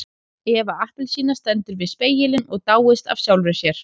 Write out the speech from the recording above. Eva appelsína stendur við spegilinn og dáist að sjálfri sér.